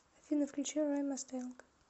афина включи рай масстанк